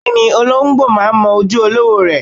Bẹ́ẹ̀ni, olóǹgbò máa ń mọ ojú olówó rẹ̀.